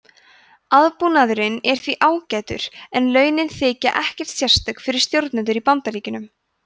aðbúnaðurinn er því ágætur en launin þykja ekkert sérstök fyrir stjórnendur í bandaríkjunum